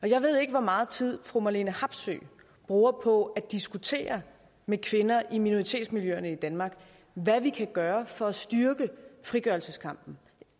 jeg ved ikke hvor meget tid fru marlene harpsøe bruger på at diskutere med kvinder i minoritetsmiljøerne i danmark hvad vi kan gøre for at styrke frigørelseskampen